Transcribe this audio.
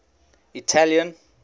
italian